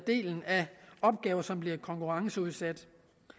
opgaver som bliver konkurrenceudsat